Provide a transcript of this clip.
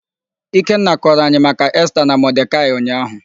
Ikenna kọrọ anyị maka Esta na Modekaị ụnyaahụ.